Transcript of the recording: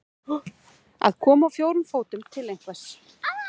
Að koma á fjórum fótum til einhvers